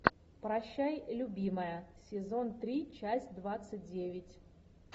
прощай любимая сезон три часть двадцать девять